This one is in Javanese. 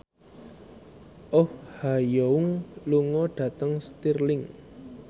Oh Ha Young lunga dhateng Stirling